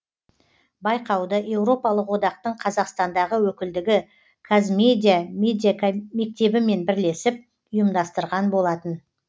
байқауды еуропалық одақтың қазақстандағы өкілдігі қазмедиа медиамектебімен бірлесіп ұйымдастырған болатын